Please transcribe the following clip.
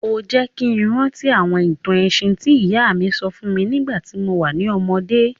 O jẹ́ ki n rántí àwọn ìtàn ẹ̀sìn ti ìyá mi sọ fún mi nígbàtí mo wa ni ọmọdé.